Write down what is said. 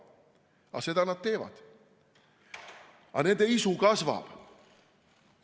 Aga seda nad teevad ja nende isu kasvab.